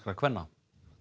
kvenna